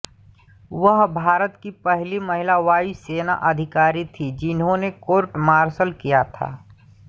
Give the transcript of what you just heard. वह भारत की पहली महिला वायु सेना अधिकारी थीं जिन्हें कोर्ट मार्शल किया था